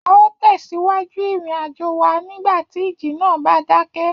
A óò tẹ̀síwájú ìrìnàjò wa nígbà tí ìjì náà bá dákẹ́